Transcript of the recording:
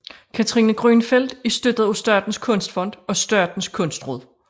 Katrine Grünfeld er støttet af Statens kunstfond og Statens kunstråd